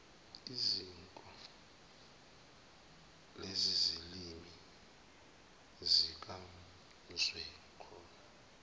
iziko lezilimi zikazwelonke